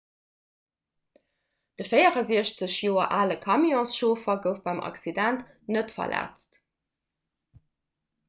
de 64 joer ale camionschauffer gouf beim accident net verletzt